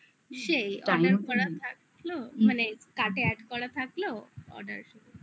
সেই মানে card add করা থাকলো add